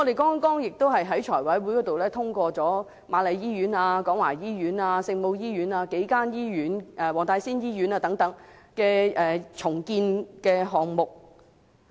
剛剛在財務委員會上我們也通過瑪麗醫院、廣華醫院、聖母醫院、黃大仙醫院等數間醫院的重建項目。